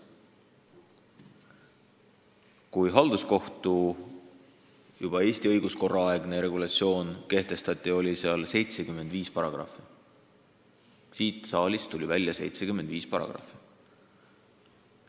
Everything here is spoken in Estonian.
Kui halduskohtu juba Eesti õiguskorra aegne regulatsioon kehtestati, oli seaduses 75 paragrahvi – siit saalist läks välja 75 paragrahvi!